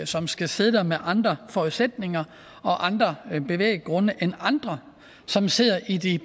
som skal sidde der med andre forudsætninger og andre bevæggrunde end andre som sidder i de